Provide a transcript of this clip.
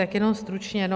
Tak jenom stručně.